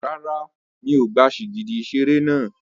Rárá, mi ò gba sìgìdì ìṣeré náà.